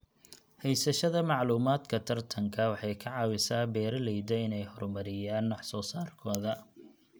Haysashada macluumaadka tartanka waxay ka caawisaa beeralayda inay horumariyaan wax soo saarkooda.